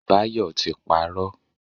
Bayo ti parọ́.